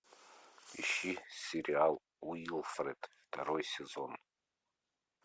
ищи сериал уилфред второй сезон